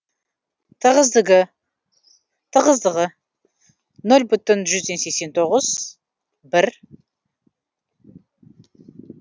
тығыздығы г см жану жылуы мдж кг